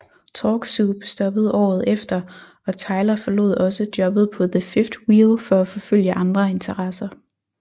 Talk Soup stoppede året efter og Tyler forlod også jobbet på The Fifth Wheel for at forfølge andre interesser